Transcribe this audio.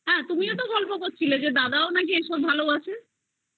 হা তুমিও তো গল্প করছিলে যে দাদাও নাকি এইসব ভালোবাসে